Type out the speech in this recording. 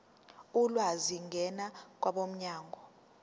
ulwazi ngena kwabomnyango